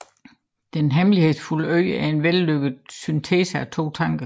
Den hemmelighedsfulde Ø er en vellykket syntese af to tanker